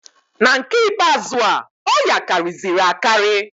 Na nke ikpe azụa, ọya karịzịrị akarị.